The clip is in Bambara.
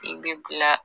I bɛ bila